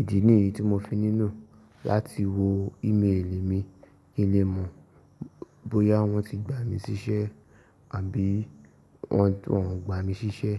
Ìdí nìyí tí mo fi nílo láti wo ímélì mi kí n lè mọ̀ bóyá wọ́n ti gbà mí síṣẹ́ àbí wọ́n ò gba mi síṣẹ́